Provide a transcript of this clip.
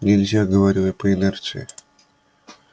нельзя говорю я по инерции